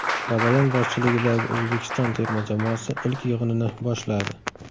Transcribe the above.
Babayan boshchiligidagi O‘zbekiston terma jamoasi ilk yig‘inini boshladi .